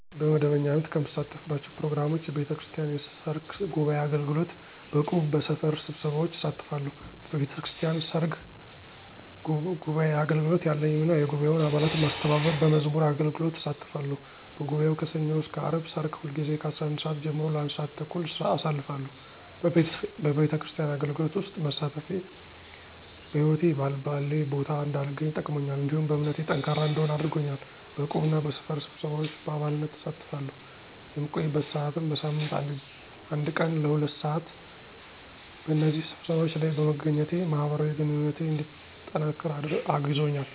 በመደበኛነት ከምሳተፍባቸው ፕሮግራሞች፣ የቤተክርስቲያን የሰርክ ጉባዔ አገልግሎት፣ በእቁብ፣ በሰፈር ስብሰባዎች እሳተፋተለሁ። በቤተክርስቲያን ሰርክ ጉባዓ አገልግሎት ያለኝ ሚና የጉባኤውን አባላት መስተባበር፣ በመዝሙር አገልግሎት እሳተፋለሁ፤ በጉባኤው ከሠኞ እስከ አርብ ሰርክ ሁልጊዜ ከ11:00 ሰዓት ጀምሮ ለ1:30 (ለአንድ ሰዓት ተኩል) አሳልፋለሁ፤ በቤተክርስቲያን አገልግሎት ውስጥ መሳተፌ በህይወቴ በአልባሌ ቦታ እንዳልገኝ ጠቅሞኛል፤ እንዲሁም በእምነቴ ጠንካራ እንድሆን አድርጎኛል። በዕቁብ እና በሰፈር ስብሰባዎች በአባልነት እሳተፋለሁ፣ የምቆይበት ሰዓትም በሳምንት አንድ ቀን ለ2:00 ሰዓት (ለሁለት ሰዓት)፣ በእነዚህ ስብሰባዎች ለይ መገኘቴ ማህበራዊ ግንኙነቴ እንዲጠነቅር አግዞኛል።